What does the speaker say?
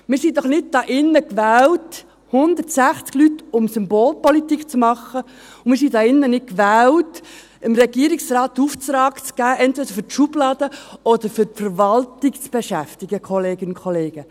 Wir sind doch hier nicht gewählt – 160 Leute –, um Symbolpolitik zu machen, und wir sind hier nicht gewählt, um dem Regierungsrat einen Auftrag entweder für die Schublade zu geben oder dafür, die Verwaltung zu beschäftigen, Kolleginnen und Kollegen.